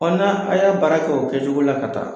n"a a' y'a baara kɛ o kɛcogo la ka taga